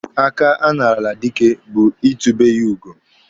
Aka a narala dike bụ itube ya ugo.